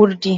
Urdi,